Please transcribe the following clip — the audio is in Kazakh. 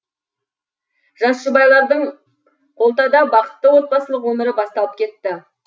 жас жұбайлардың колтада бақытты отбасылық өмірі басталып кетті